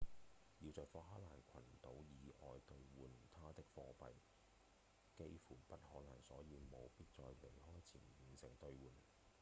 要在福克蘭群島以外兌換它的貨幣幾乎不可能所以務必在離開前完成兌換